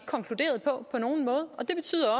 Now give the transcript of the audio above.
konkluderet på det betyder